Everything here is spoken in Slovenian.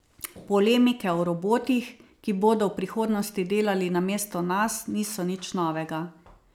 Polemike o robotih, ki bodo v prihodnosti delali namesto nas, niso nič novega.